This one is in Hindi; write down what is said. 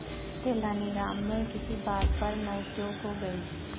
तेनालीराम में किसी बात पर नोकझोंक हो गई